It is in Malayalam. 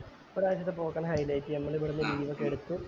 ഈ പ്രവിശ്യത്തെ പോക്കെന്നെ highlight നമ്മള് ഇവിടന്നു room ഒക്കെ എടുത്തു